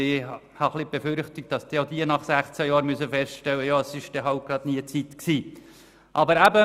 Ich habe die Befürchtung, auch sie werden nach 16 Jahren feststellen müssen, dass der richtige Zeitpunkt nie gekommen ist.